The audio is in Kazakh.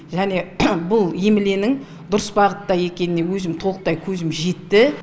және бұл емленің дұрыс бағытта екеніне өзім толықтай көзім жетті